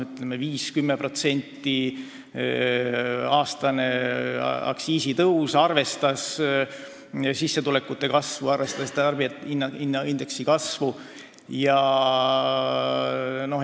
Meie 5- või 10%-line aastane aktsiisitõus arvestas sissetulekute kasvu ja tarbijahinnaindeksi tõusu.